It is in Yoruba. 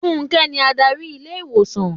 Fúnké ni Ádárì ilé ìwòsàn.